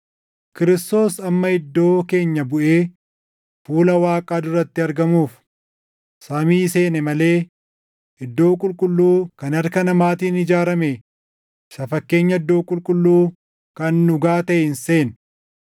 Kiristoos amma iddoo keenya buʼee fuula Waaqaa duratti argamuuf samii seene malee iddoo qulqulluu kan harka namaatiin ijaarame isa fakkeenya iddoo qulqulluu kan dhugaa taʼe hin seenne.